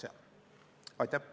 Aitäh!